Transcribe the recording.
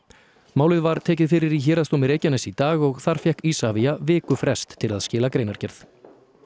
málið var tekið fyrir í Héraðsdómi Reykjaness í dag og þar fékk Isavia vikufrest til að skila greinargerð